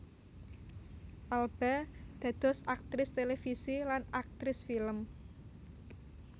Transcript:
Alba dados aktris télévisi lan aktris film